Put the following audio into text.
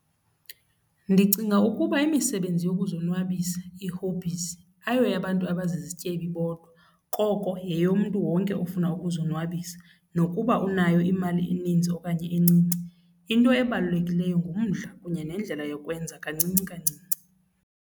Ndicinga ukuba imisebenzi yokuzonwabisa, ii-hobbies, ayoyabantu abazizityebi bodwa koko yeyomntu wonke ofuna ukuzonwabisa nokuba unayo imali eninzi okanye encinci. Into ebalulekileyo ngumdla kunye neendlela yokwenza kancinci kancinci.